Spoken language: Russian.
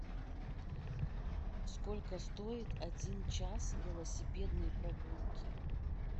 сколько стоит один час велосипедной прогулки